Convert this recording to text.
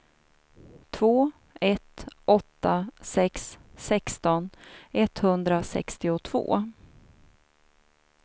två ett åtta sex sexton etthundrasextiotvå